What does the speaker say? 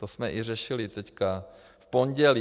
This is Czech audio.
To jsme i řešili teď v pondělí.